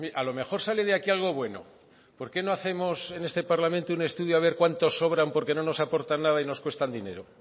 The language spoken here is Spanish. a lo mejor sale de aquí algo bueno por qué no hacemos en este parlamento un estudio a ver cuántos sobran porque no nos aportan nada y nos cuestan dinero